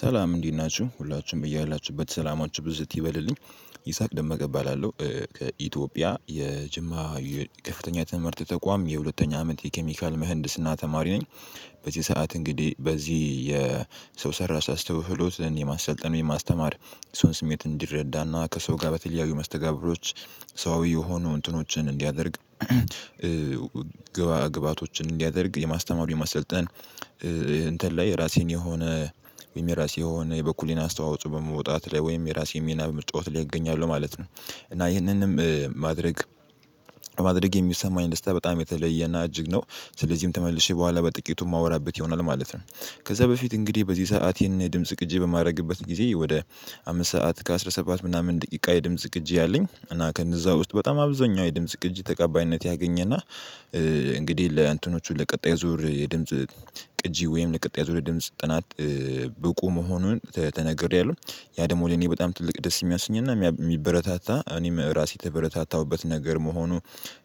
ሰላም እንዴት ናችሁ ሁላችሁም በያላችሁበት ሰላማችሁ ብዝት ይበልልኝ ይሳቅ ደመቀ እባላለው ከኢትዮጵያ የጅማ ከፍተኛ ትምህርት ተቋም የሁለተኛ አመት የኬሚካል ምህንድስና ተማሪ ነኝ። በዚህ ሰዓት እንግዲህ በዚህ የሰው ሠራሽ አስተውሎትን የማሰልጠን የማስተማር የሰውን ስሜት እንዲረዳና ከሰው ጋር በተለያዩ መስተጋብሮች ሰዋዊ የሆኑ እንትኖችን እንዲያደርግ። ግባ ግብአቶችን እንዲያደርግ የማስተማሩ የማሰልጠን እንትን ላይ ራሴን የሆነ ወይም የራሴ የሆነ የበኩሌን አስተዋጽኦ በመውጣት ላይ ወይም የራሴ ሚና በመጫወት ላይ እገኛለሁ ማለት ነው። እና ይህንንም ማድረግ ማድረግ የሚሰማኝ ደስታ በጣም የተለየና እጅግ ነው። ስለዚህም ተመልሼ በኋላ በጥቂቱ የማወራበት ይሆናል ማለት ነው። ከዛ በፊት እንግዲህ በዚህ ሰዓት ይሄን ድምጽ ቅጂ በማድረግበት ጊዜ ወደ አምስት ሰዓት ከ አስራ ሰባት ምናምን ደቂቃ የድምጽ ቅጂ አለኝ እና ከእነዛ ውስጥ በጣም አብዛኛው የድምጽ ቅጂ ተቀባይነት ያገኘ እና። እንግዲህ ለእንትኖቹ ለቀጣይ ዙር የድምጽ ቅጂ ወይም ለቀጣይ ዙር የድምጽ ጥናት ብቁ መሆኑን ተነግሬያለሁ። ያ ደግሞ ለኔ በጣም ትልቅ ደስ የሚያስኝና የሚያብ የሚበረታታ እኔም ራሴ የተበረታታሁበት ነገር መሆኑ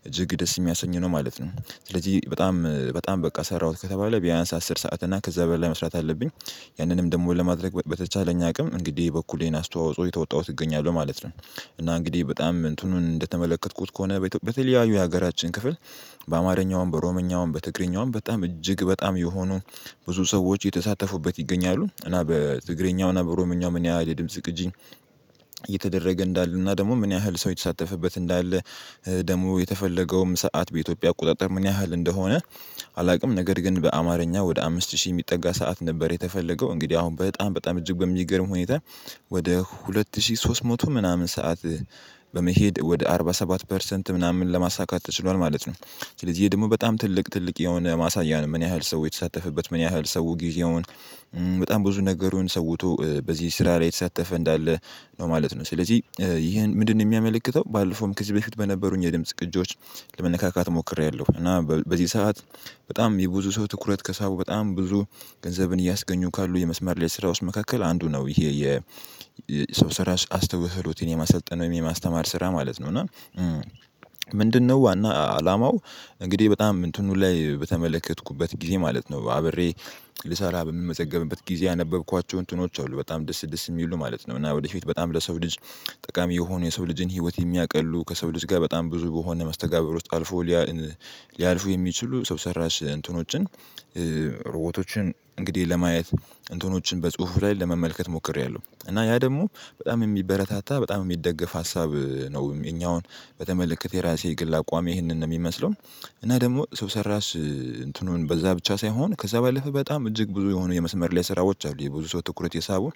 እጅግ ደስ የሚያሰኝ ነው ማለት ነው። ስለዚህ በጣም በጣም በቃ ሠራሁት ከተባለ ቢያንስ አስር ሰዓት እና ከዛ በላይ መስራት አለብኝ። ያንንም ደግሞ ለማድረግ በበተቻለኝ አቅም እንግዲህ የበኩሌን አስተዋፅኦ እየተወጣሁት እገኛለሁ ማለት ነው። እና እንግዲህ በጣም እንትኑን እንደተመለከትኩት ከሆነ በኢትዮጵ በተለያዩ የሀገራችን ክፍል በአማርኛውም በኦሮምኛውም በትግርኛውም በጣም እጅግ በጣም የሆኑ ብዙ ሰዎች እየተሳተፉበት ይገኛሉ። እና በትግሬኛው እና በኦሮምኛው ምን ያህል የድምጽ ቅጂ እየተደረገ እንዳለ እና ደግሞ ምን ያህል ሰው እየተሳተፈበት እንዳለ ደግሞ የተፈለገውም ሰዓት በኢትዮጵያ አቆጣጠር ምን ያህል እንደሆነ አላውቅም። ነገር ግን በአማርኛ ወደ አምስት ሺህ የሚጠጋ ሰዓት ነበር የተፈለገው እንግዲህ አሁን በጣም በጣም እጅግ በሚገርም ሁኔታ ወደ ሁለት ሺህ ሶስት መቶ ምናምን ሰዓት በመሄድ ወደ አርባ ሰባት ፐርሰንት ምናምን ለማሳካት ተችሏል ማለት ነው። ስለዚህ ደግሞ በጣም ትልቅ ትልቅ የሆነ ማሳያ ነው ምን ያህል ሰው የተሳተፈበት ምን ያህል ሰው ጊዜውን በጣም ብዙ ነገሩን ሰውቶ በዚህ ስራ ላይ እየተሳተፈ እንዳለ ነው ማለት ነው። ስለዚህ ይህን ምንድንነው የሚያመለክተው ባለፈውም ከዚህ በፊት በነበሩኝ የድምጽ ቅጂዎች ለመነካካት ሞክሬያለሁ። እና በዚህ ሰዓት በጣም የብዙ ሰው ትኩረት ከሳቡ በጣም ብዙ ገንዘብን እያስገኙ ካሉ የመስመር ላይ ስራዎች መካከል አንዱ ነው ይሄ የሰው ሰራሺ አስተውህሎትን የማሰጠን የማስተማር ስራ ማለት ነው እና። ምንድነው ዋና አላማው? እንግዲህ በጣም እንትኑ ላይ በተመለከትኩበት ጊዜ ማለት ነው አብሬ ልሰራ በምንመዘገብበት ጊዜ ያነበብኳቸውን እንትኖች አይደሉም በጣም ደስ ደስ የሚሉ ማለት ነው። እና ወደፊት በጣም ለሰው ልጅ ጠቃሚ የሆኑ የሰው ልጅን ህይወት የሚያቀሉ ከሰው ልጅ ጋር በጣም ብዙ በሆነ መስተጋብር ውስጥ አልፎ እዚያ ሊያልፉ የሚችሉ ሰው ሰራሽ እንትኖችን ሮ .ቦቶችን እንግዲህ ለማየት እንትኖችን በጽሁፉ ላይ ለመመልከት ሞክሬያለሁ እና ያ ደግሞ በጣም የሚበረታታ በጣም የሚደገፍ ሀሳብ ነው። የኛውን በተመለከተ የራሴ ግል አቋሜ ይህንን ነው የሚመስለው። እና ደግሞ ሰው ሰራሽ እንትኑን በዛ ብቻ ሳይሆን ከዛ በላፈ በጣም እጅግ ብዙ የሆኑ የመስመር ላይ ስራዎች የ ብዙ ሰው ትኩረት የሳበው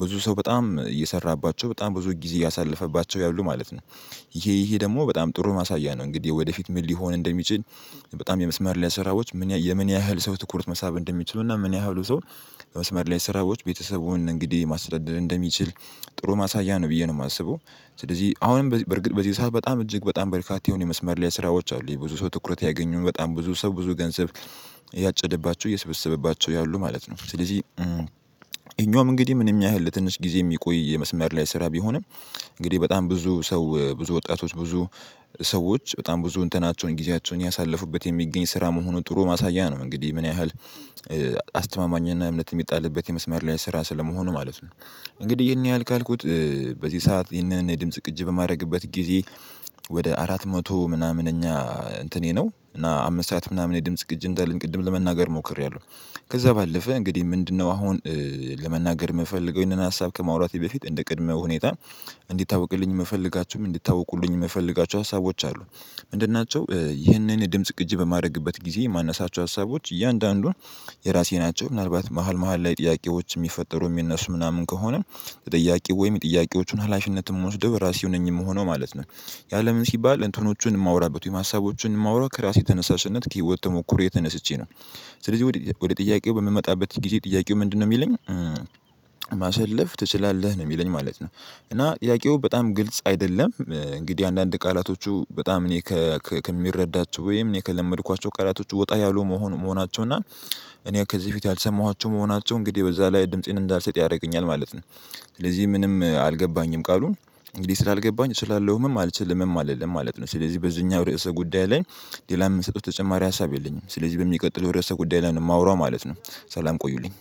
ብዙ ሰው በጣም እየሰራባቸው በጣም ብዙ ጊዜ እያሳለፈባቸው ያሉ ማለት ነው። ይሄ ይሄ ደግሞ በጣም ጥሩ ማሳያ ነው። እንግዲህ ወደፊት ምን ሊሆን እንደሚችል? በጣም የመስመር ላይ ስራዎች ምን የምን ያህል ሰው ትኩርት መሳብ እንደሚችሉና ምን ያህሉ ሰው የመስመር ላይ ስራዎች ቤተሰቡን እንግዲህ ማስረዳድ እንደሚችል ጥሩ ማሳያ ነው ብዬ ነው የማስበው። ስለዚህ አሁንም በርግጥ በዚህ ሰዓት በጣም እጅግ በጣም በርካታ የሆነ የመስመር ላይ ስራዎች አሉ የብዙ ሰው ትኩረት ያገኙ በጣም ብዙ ሰው ብዙ ገንዘብ እያጨደባቸው እየሰበሰበባቸው ያሉ ማለት ነው። ስለዚህ ይኸኛውም እንግዲህ ምንም ያህል ለትንሽ ጊዜ የሚቆይ የመስመር ላይ ስራ ቢሆንም። እንግዲህ በጣም ብዙ ሰው ብዙ ወጣቶች ብዙ ሰዎች በጣም ብዙ እንትናቸውን ጊዜያቸውን እያሳለፉበት የሚገኝ ስራ መሆኑን ጥሩ ማሳያ ነው። እንግዲህ ምን ያህል አስተማማኝና እምነት የሚጣልበት የመስመር ላይ ስራ ስለመሆኑ ማለት ነው። እንግዲህ ይሄን ያህል ካልኩት በዚህ ሰዓት ይህንን የድምጽ ቅጅ በማደረግበት ጊዜ ወደ አራት መቶ ምናምን ኛ እንትኔ ነው እና አምስት ሰዓት ምናምን የድምጽ ቅጅ እንዳለኝ ቅድም ለመናገር ሞክሬያለሁ። ከዛ ባለፈ እንግዲህ ምንድንነው? አሁን ለመናገር የምፈልገው ይሄንን ሀሳብ ከማውራቴ በፊት እንደ ቅድመ ሁኔታ እንዲታወቅልኝ የምፈልጋቸውም እንዲታውቁልኝ የምፈለጋቸው ሀሳቦች አሉ። ምንድን ናቸው? ይህንን ድምጽ ቅጂ በማድረግበት ጊዜ የማነሳቸው ሀሳቦች እያንዳንዷ የራሴ ናቸው። ምናልባት መሃል መሃል ላይ ጥያቄዎች የሚፈጠሩ የሚነሱ ምናምን ከሆነ የጥያቄው ወይም የጥያቄዎቹን ሀላፊነት የምወስደው ራሴው ነኝ የምሆነው ማለት ነው። ያለ ለምን ሲባል እንትኖቹን የማወራበት ሀሳቦቹን የማወራው ከራሴ ተነሳሽነት ከህይወት ተሞክሮየ ተነስቼ ነው። ስለዚህ ወደ ወደ ጥያቄው በምመጣበት ጊዜ ጥያቄው ምንድንነው የሚለኝ? ማሳለፍ ትችላለህ ነው የሚለኝ ማለት ነው። እና ጥያቄው በጣም ግልጽ አይደለም። እንግዲህ አንዳንድ ቃላቶቹ በጣም እኔ ከምረዳቸው ወይም እኔ ከለመድኳቸው ቃላቶች ወጣ ያሉ መሆን መሆናቸው እና። እኔ ከዚህ በፊት ያልሰማኋቸው መሆናቸው እንግዲህ በዛ ላይ ድምፄን እንዳልሰጥ ያደርገኛል ማለት ነው። ስለዚህ ምንም አልገባኝም ቃሉን። እንግዲህ ስላልገባኝ እችላለሁምም አልችልምም አልልም ማለት ነው። ስለዚህ በዚህኛው ርዕሰ ጉዳይ ላይ ሌላ የምሰጠው ተጨማሪ ሀሳብ የለኝም። ስለዚህ በሚቀጥለው ርዕሰ ጉዳይ ላይ ነው የማወራው ማለት ነው። ሠላም ቆዩልኝ